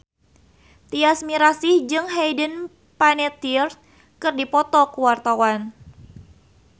Tyas Mirasih jeung Hayden Panettiere keur dipoto ku wartawan